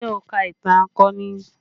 Ṣé o ka ìtàn akọni?